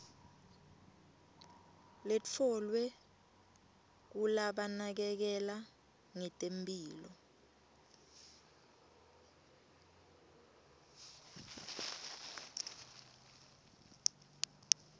letfolwe kulabanakekela ngetemphilo